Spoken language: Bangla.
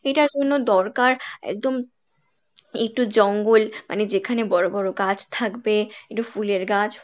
এটার জন্য দরকার একদম একটু জঙ্গল মানে যেখানে বড় বড় গাছ থাকবে, একটু ফুলের গাছ